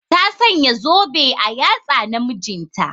Ta Sanya zobe a yatsa na mijinta.